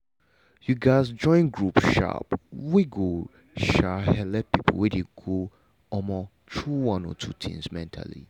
you gats join group um wey go um helep people wey dey go um through one or two mentally